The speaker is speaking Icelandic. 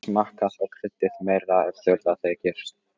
Smakkað og kryddið meira ef þurfa þykir.